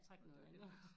Det var heldigt